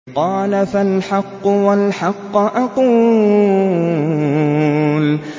قَالَ فَالْحَقُّ وَالْحَقَّ أَقُولُ